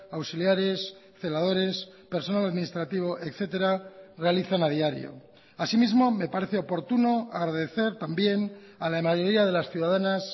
auxiliares celadores personal administrativo etcétera realizan a diario así mismo me parece oportuno agradecer también a la mayoría de las ciudadanas